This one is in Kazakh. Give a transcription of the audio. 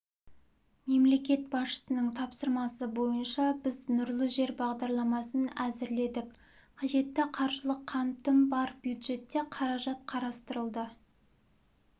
мемлекет басшысының тапсырмасы бойынша біз нұрлы жер бағдарламасын әзірледік қажетті қаржылық қамтым бар бюджетте қаражат қарастырылды